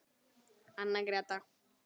Anna Gréta.